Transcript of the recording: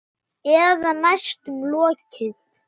Eða næstum lokið.